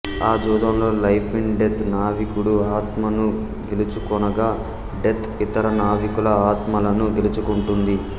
ఆ జూదంలో life in death నావికుడి ఆత్మను గెలుచుకొనగా డెత్ ఇతర నావికుల ఆత్మలను గెలుచుకుంటుంది